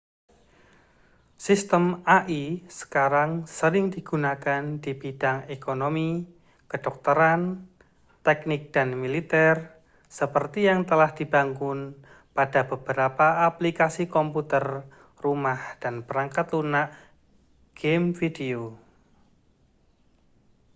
sistem ai sekarang sering digunakan di bidang ekonomi kedokteran teknik dan militer seperti yang telah dibangun pada beberapa aplikasi komputer rumah dan perangkat lunak gim video